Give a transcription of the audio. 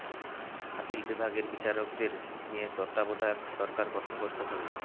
appeal বিভাগের বিচারকদের নিয়ে তত্ত্বাবধায়ক সরকার গঠন করতে হবে